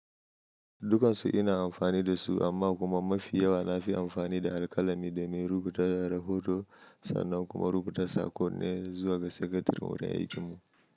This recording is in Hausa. Dukansu ina amfani da su amma kuma mafi yawa na fi amfani da alkalami domin rubuta rahoto sannan kuma rubuta saƙonni zuwa ga sakatare wuri aikinmu.